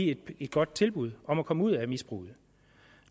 et godt tilbud om at komme ud af misbruget